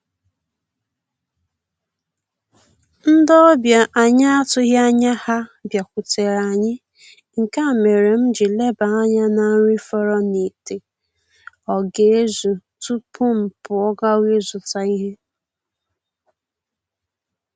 Ndị ọbịa anyị atụghị anya ha bịakutere anyị, nke a mere m ji leba anya na nri fọrọ n'ite ọ ga-ezu tupu m pụọ gawa ịzụta ihe